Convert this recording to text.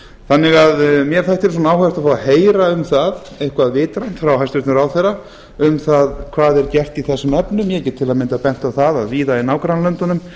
þannig að mér þætti ágætt að fá að heyra um það eitthvað vitrænt frá hæstvirtum ráðherra um það hvað er gert í þessum efnum ég get til að mynda bent á að víða í nágrannalöndunum